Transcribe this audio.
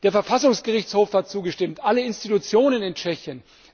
Der Verfassungsgerichtshof hat zugestimmt, alle Institutionen in Tschechien!